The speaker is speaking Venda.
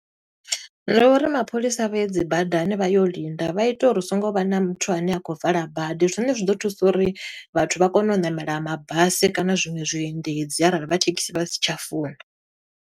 Ndi uri mapholisa vhaye dzi badani vha ye linda, vha ita uri hu songo vha na muthu ane a kho vala bada. Zwine zwi ḓo thusa uri, vhathu vha kone u ṋamela mabasi kana zwiṅwe zwiendedzi arali vha thekhisi vha si tsha funa.